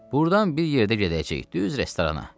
Burdan bir yerdə gedəcəyik düz restorana.